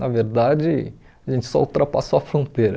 Na verdade, a gente só ultrapassou a fronteira.